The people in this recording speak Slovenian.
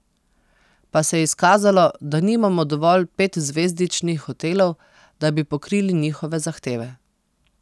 Pa se je izkazalo, da nimamo dovolj petzvezdičnih hotelov, da bi pokrili njihove zahteve.